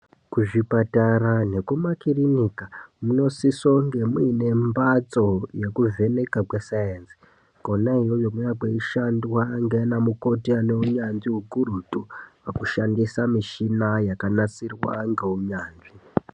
Kuzvipatara nekumakirinika munosisa kunge muine mhpatso yekuvheneka kwe saenzi kwona iyoyo kunonga kweishandwa ndiana mukoti anenyanzvi ukurutu hwekushandisa michina yakanasirwa ngeunyanzvi .